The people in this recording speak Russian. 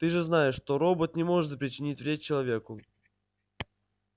ты же знаешь что робот не может причинить вред человеку